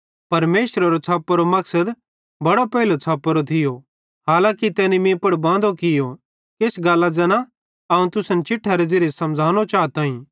परमेशरेरो छ़प्पोरो मकसद बड़ो पेइलो छ़पोतो थियो हालांकी तैनी मीं पुड़ बांदो कियो किछ गल्लां आन ज़ैना अवं तुसन चिट्ठेरे ज़िरीये समझ़ानो चाताईं